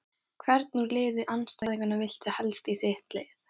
Hvern úr liði andstæðinganna viltu helst í þitt lið?